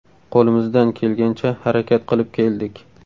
Qo‘limizdan kelgancha harakat qilib keldik.